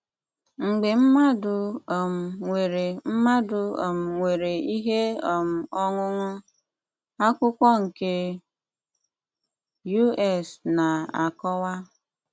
Mgbe mmadụ um nwere mmadụ um nwere ihe um ọṅụṅụ, akwụkwọ nke U.S. na-akọwa.